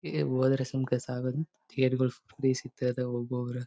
ಈ ಹೋದ್ರೆ ಸುಮ್ಕೆ ಸಾಗದು ತೇರುಗಳು ಫ್ರೀ ಸಿಗ್ತಾವೆ ಹೋಗುವವರ--